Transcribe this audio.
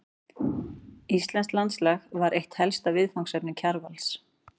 Íslenskt landslag var eitt helsta viðfangsefni Kjarvals.